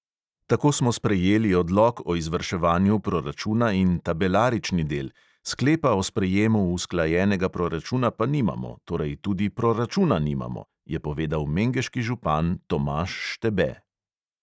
Tako smo sprejeli odlok o izvrševanju proračuna in tabelarični del, sklepa o sprejemu usklajenega proračuna pa nimamo, torej tudi proračuna nimamo, je povedal mengeški župan tomaž štebe.